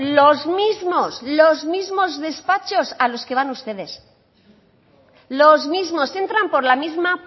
los mismos los mismos despachos a los que van ustedes los mismos entran por la misma